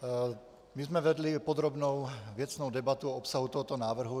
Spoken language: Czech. My jsme vedli podrobnou věcnou debatu o obsahu tohoto návrhu.